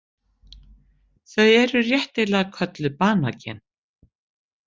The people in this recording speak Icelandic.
Þau eru réttilega kölluð banagen.